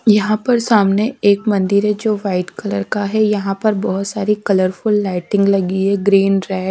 यहा पर सामने एक मंदिर है जो वाइट कलर का है यहा पर बहुत सार्री कलर फुल लाइटिंग लगी है ग्रीन रेड --